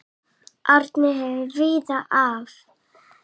Árni hefur komið víða við.